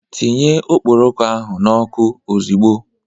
Tinye okpokoro ahu n'oku ozigbo!